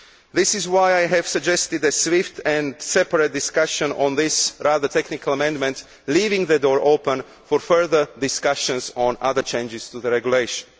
This is why I have suggested a swift and separate discussion on this rather technical amendment, leaving the door open for further discussions on other changes to the regulation.